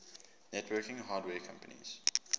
networking hardware companies